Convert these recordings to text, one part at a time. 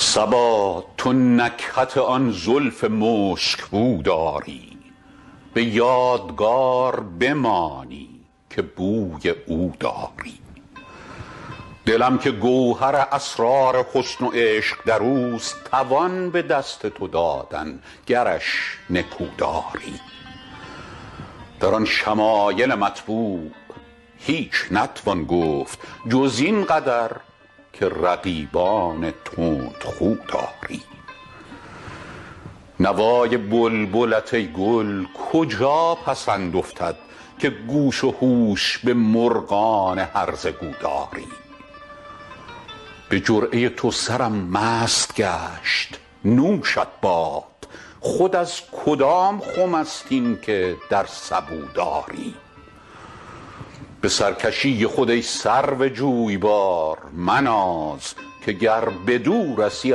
صبا تو نکهت آن زلف مشک بو داری به یادگار بمانی که بوی او داری دلم که گوهر اسرار حسن و عشق در اوست توان به دست تو دادن گرش نکو داری در آن شمایل مطبوع هیچ نتوان گفت جز این قدر که رقیبان تندخو داری نوای بلبلت ای گل کجا پسند افتد که گوش و هوش به مرغان هرزه گو داری به جرعه تو سرم مست گشت نوشت باد خود از کدام خم است این که در سبو داری به سرکشی خود ای سرو جویبار مناز که گر بدو رسی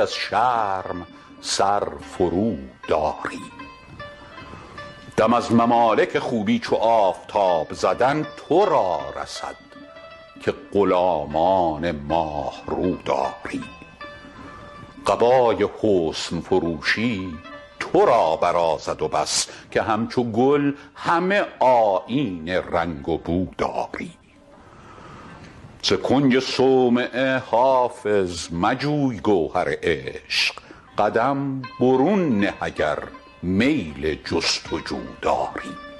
از شرم سر فروداری دم از ممالک خوبی چو آفتاب زدن تو را رسد که غلامان ماه رو داری قبای حسن فروشی تو را برازد و بس که همچو گل همه آیین رنگ و بو داری ز کنج صومعه حافظ مجوی گوهر عشق قدم برون نه اگر میل جست و جو داری